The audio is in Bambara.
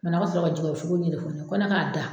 Manɔgɔ sɔrɔ ka ko ne k'a da